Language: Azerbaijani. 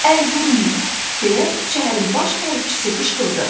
Əl vurmayın, deyə şəhərin baş hərbiçisi qışqırdı.